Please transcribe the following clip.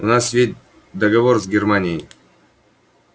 у нас ведь договор с германией